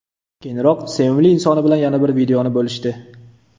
Keyinroq sevimli insoni bilan yana bir videoni bo‘lishdi.